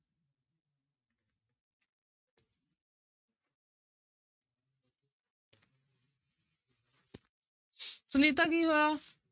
ਸੁਨੀਤਾ ਕੀ ਹੋਇਆ?